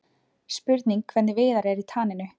Spurning hvernig Viðar er í taninu?